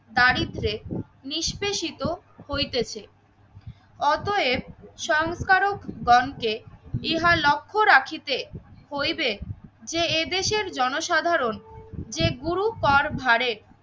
দারিদ্র্যে নিষ্পেষিত হইতেছে। অতএব সংস্কারক গণকে ইহা লক্ষ্য রাখিতে হইবেন যে এদেশের জনসাধারণ যে গুরু কর ভারে